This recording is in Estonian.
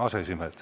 Ja aseesimehed.